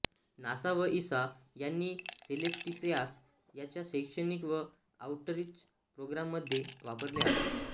NASA व ESA यांनी सेलेस्टियास त्यांच्या शैक्षणिक व आउटरीच प्रोग्राम्समध्ये वापरले आहे